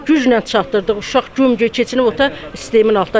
Güclə çatdırdıq uşaq güm-gücə keçinib otaq sistemin altındadır.